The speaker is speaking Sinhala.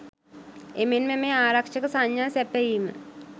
එමෙන්ම මෙය ආරක්ෂක සංඥා සැපයීම